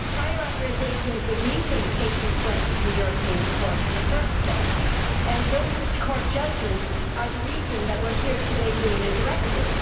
Prior authorisation is the reason patients went to the European Court in the first place, and the Court's judgments are the reason we are here today with a directive.